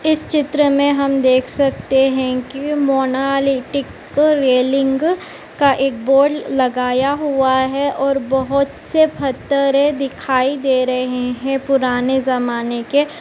इस चित्र में हम देख सकते है कि मोनालिटिक - रेलिंग का एक बोर्ड लगाया हुआ है और बोहोत से फत्तरे दिखाई दे रहे है पुराने जमाने के --